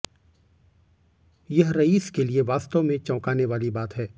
यह रईस के लिए वास्तव में चौकाने वाली बात है